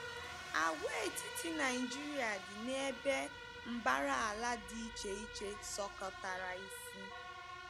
Àgwàetiti Naịjirịa dị n’ebe mbara ala dị iche iche sọkọtara isi.